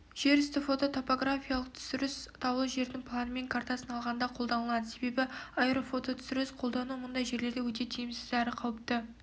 жер үсті фототопографиялық түсіріс таулы жердің планымен картасын алғанда қолданылады себебі аэрофототүсіріс қолдану мұндай жерлерде өте тиімсіз әрі қауіпті